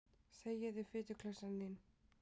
Þegiðu, fituklessan þín.